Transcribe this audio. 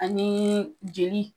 Anii jeli